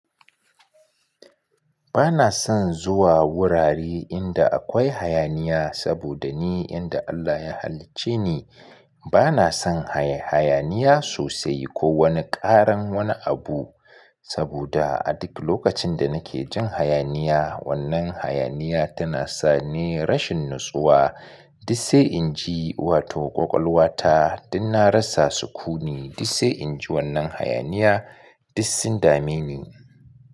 Bana son zuwa wurare inda akwai hayaniya saboda ni yanda Allah ya halicce ni bana son hayaniya sosai ko wani ƙaran wani abu. Saboda a duk lokacin da nake jin hayaniya, wannan hayaniya tana sa ni rashin natsuwa. Duk sai in ji wato ƙwaƙwalwata, duk na rasa sukuni, duk sai in ji wannan hayaniya, duk sun dame ni.